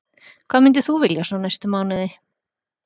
Hvað myndir þú vilja svona næstu mánuði?